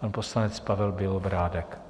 pan poslanec Pavel Bělobrádek.